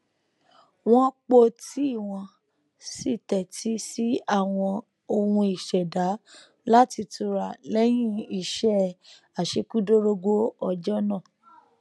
wọn po tíì wọn sì tẹtí sí àwọn ohùn ìṣẹdá láti tura lẹyìn iṣẹ àṣekúdórógbó ọjọ náà